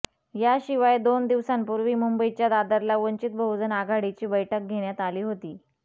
याशिवाय दोन दिवसांपूर्वी मुंबईच्या दादरला वंचित बहुजन आघाडीची बैठक घेण्यात आली होती